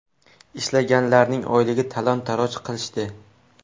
Ishlaganlarning oyligini talon-toroj qilishdi.